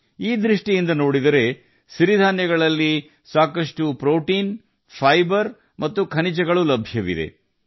ನೀವು ಈ ರೀತಿ ನೋಡಿದರೆ ಸಿರಿಧಾನ್ಯಗಳಲ್ಲಿ ಸಾಕಷ್ಟು ಪ್ರೋಟೀನ್ ಫೈಬರ್ ಮತ್ತು ಖನಿಜಗಳಿವೆ